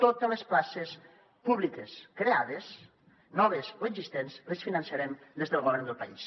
totes les places públiques creades noves o existents les finançarem des del govern del país